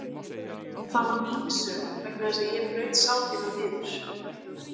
Og það var mín sök vegna þess að ég braut sál þína niður.